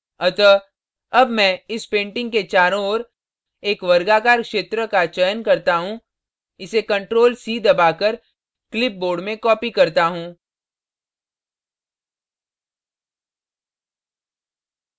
अतः अब मैं इस painting के चारों ओर एक वर्गाकार क्षेत्र का चयन करता हूँ इसे ctrl + c दबाकर क्लिप बोर्ड में copy करता हूँ